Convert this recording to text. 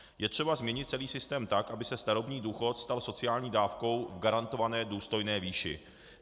Je třeba změnit celý systém tak, aby se starobní důchod stal sociální dávkou v garantované důstojné výši.